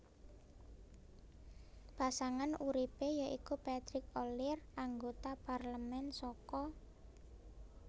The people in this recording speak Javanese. Pasangan uripe ya iku Patrick Ollier anggota parlemen saka